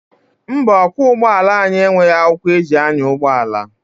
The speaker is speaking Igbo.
Mba, ọkwọ ụgbọala anyị enweghị akwụkwọ eji anya ụgbọala.